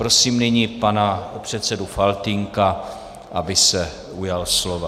Prosím nyní pana předsedu Faltýnka, aby se ujal slova.